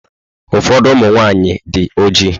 Ụfọdụ ụmụ nwaanyị dị ojii.